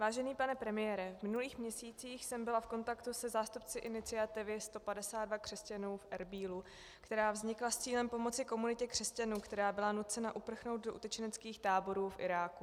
Vážený pane premiére, v minulých měsících jsem byla v kontaktu se zástupci iniciativy 152 křesťanů v Erbílu, která vznikla s cílem pomoci komunitě křesťanů, která byla nucena uprchnout do utečeneckých táborů v Iráku.